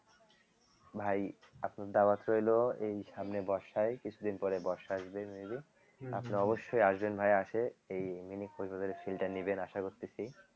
ভাই আপনার দাওয়াত রইলো এই সামনে বর্ষায় কিছুদিন পরে বর্ষা আসবে maybe আপনি অবশ্যই আসবেন ভাই আসে এই mini কক্স বাজার এর feel টা নিবেন আশা করতেছি